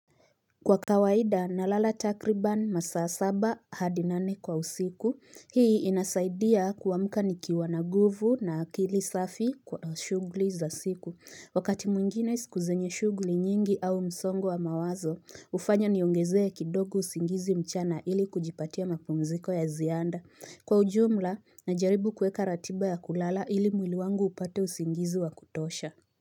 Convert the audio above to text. Kwa kawaida na lala takriban masaa saba hadi nane kwa usiku hii inasaidia kuwamka niki wana guvu na akili safi kwa shugli za siku wakati mwingine sikuzenye shugli nyingi au msongo wa mawazo ufanya niyongezee kidoku usingizi mchana ili kujipatia mapumziko ya zianda kwa ujumla najaribu kuweka ratiba ya kulala ili mwili wangu upate usingizi wa kutosha.